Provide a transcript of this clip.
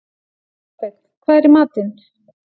Kolbeinn, hvað er í matinn?